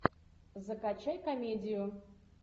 закачай комедию